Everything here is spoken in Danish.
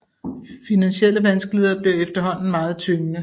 Finansielle vanskeligheder blev efterhånden meget tyngende